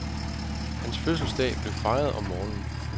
Hans fødselsdag blev fejret om morgenen.